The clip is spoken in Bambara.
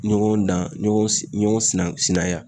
Ɲɔgɔn dan ɲɔgɔn si ɲɔgɔn sinan sinanya.